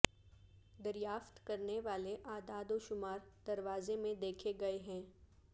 دریافت کرنے والے اعداد و شمار دروازے میں دیکھے گئے ہیں